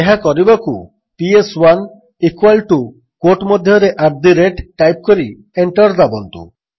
ଏହା କରିବାକୁ ପିଏସ୍1 ଇକ୍ୱାଲ୍ ଟୁ କ୍ୱୋଟ୍ ମଧ୍ୟରେ ଆଟ୍ ଦ ରେଟ୍ ଟାଇପ୍ କରି ଏଣ୍ଟର୍ ଦାବନ୍ତୁ